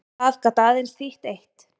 Það gat aðeins þýtt eitt.